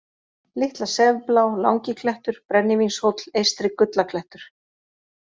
Litla-Sefblá, Langiklettur, Brennivínshóll, Eystri-Gullaklettur